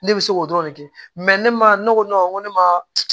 Ne bɛ se k'o dɔrɔn de kɛ ne ma ne ko ne ma